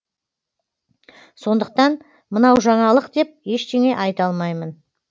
сондықтан мынау жаңалық деп ештеңе айта алмаймын